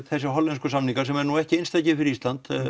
þessir hollensku samningar sem eru ekki einstakir fyrir Ísland